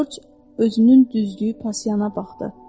Corc özünün düzlüyü passiyana baxdı.